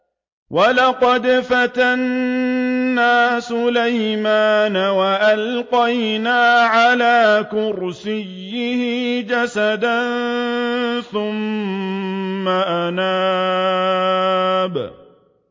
وَلَقَدْ فَتَنَّا سُلَيْمَانَ وَأَلْقَيْنَا عَلَىٰ كُرْسِيِّهِ جَسَدًا ثُمَّ أَنَابَ